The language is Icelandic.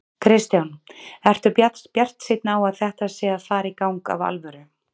Kristján: Ertu bjartsýnn á að þetta sé að fara í gang af alvöru?